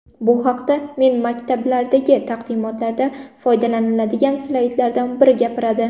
Bu haqda men maktablardagi taqdimotlarda foydalanadigan slaydlardan biri gapiradi.